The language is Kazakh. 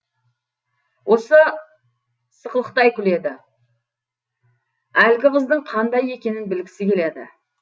ол сықылықтай күледі әлгі қыздың қандай екенін білгісі келеді